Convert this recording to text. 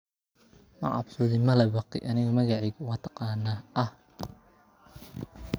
Shinnidu waxay qaadataa kow iyo labaatan maalmood inay ka dillaacdo ukunta ilaa shinnida.